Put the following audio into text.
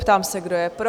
Ptám se, kdo je pro?